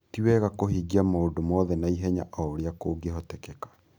Ti wega kũhingia maũndũ mothe na ihenya o ũrĩa kũngĩhoteka.